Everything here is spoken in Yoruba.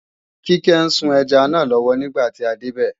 Kíkẹ́ ń sun ẹja náà lọ́wọ́ nígbà tí a débẹ̀